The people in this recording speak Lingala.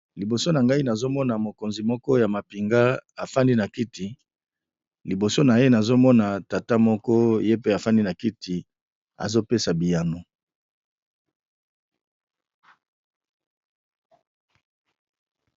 Liboso na ngai nazomona mokonzi moko ya mapinga afandi na kiti liboso na ye nazomona tata moko ye pe afandi na kiti azopesa biyano.